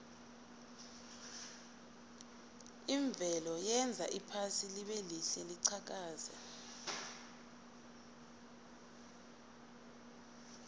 imvelo yenza iphasi libelihle liqhakaze